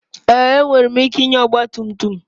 Èé! Enwere m ike ịnya ọgba tum tum.